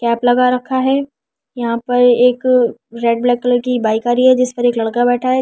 Cap लगा रखा है यहां पर एक रेड ब्लैक कलर की बाइक आ रही है जिस पर एक लड़का बैठा है।